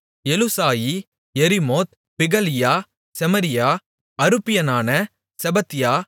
Eluzai Jerimoth Bealiah Shemariah அருப்பியனான செப்பத்தியா